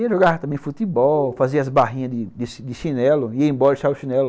Ia jogar também futebol, fazia as barrinhas de de de chinelo, ia embora e deixava o chinelo lá.